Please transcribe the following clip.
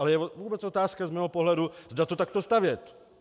Ale je vůbec otázka z mého pohledu, zda to takto stavět.